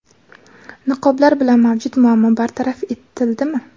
Niqoblar bilan mavjud muammo bartaraf etildimi?.